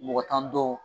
Mɔgɔ tan dɔw